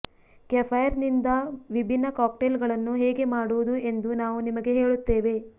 ಕೆಫೈರ್ನಿಂದ ವಿಭಿನ್ನ ಕಾಕ್ಟೇಲ್ಗಳನ್ನು ಹೇಗೆ ಮಾಡುವುದು ಎಂದು ನಾವು ನಿಮಗೆ ಹೇಳುತ್ತೇವೆ